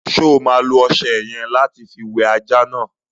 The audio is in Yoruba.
Ṣo ma lo ọṣẹ yẹ̀n lati fi wẹ ajá náà?